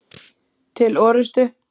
Til orustu!